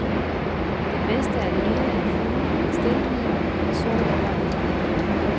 Det bedste af det hele er fuglene og stilheden, mens solen går ned.